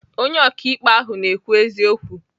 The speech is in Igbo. Onye ọkaikpe ahụ na-ekwu eziokwu.